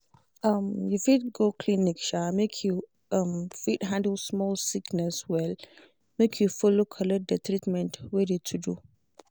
um you fit go clinic um make you um fit handle small sickness well make you follow collect de treatment wey de to do.